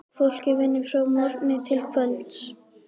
Fólkið vinnur frá morgni til kvölds.